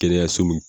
Kɛnɛyaso min